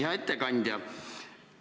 Hea ettekandja!